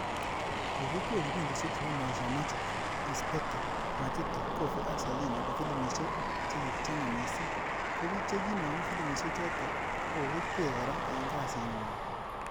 Kokikwei kipindishek chebo Maisha Magic�s Pete, Majuto, Kovi ak Selina ko filimishek chekichomei mising. ko biik chikinomu filimishek chotok koko-kegwei kora eng kasit ngw'ang.